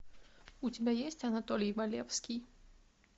у тебя есть анатолий валевский